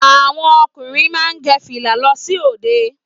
Àwọn ọkùnrin má ń gẹ fìlà lọ sí òde